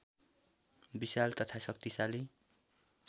विशाल तथा शक्तिशालि